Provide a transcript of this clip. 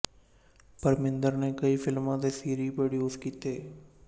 ਪਰਮਿੰਦਰ ਨੇ ਕਈ ਫ਼ਿਲਮਾ ਤੇ ਸੀਰੀਜ ਪ੍ਰੋਡਿਉਸ ਕੀਤੇ